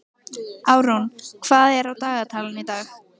Árún, hvað er á dagatalinu í dag?